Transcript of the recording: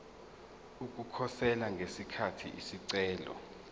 ukukhosela ngesikhathi isicelo